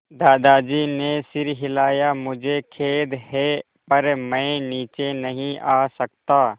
दादाजी ने सिर हिलाया मुझे खेद है पर मैं नीचे नहीं आ सकता